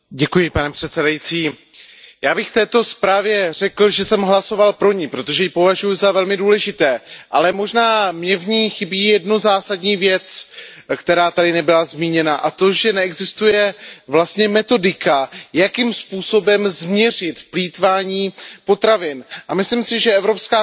Já bych k této zprávě řekl, že jsem pro ni hlasoval, protože ji považuji za velmi důležitou, ale možná mi v ní chybí jedna zásadní věc, která tu nebyla zmíněna, a to, že neexistuje vlastně metodika, jakým způsobem změřit plýtvání potravinami. Myslím si, že Evropská komise by měla začít právě